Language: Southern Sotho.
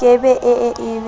ke be e e be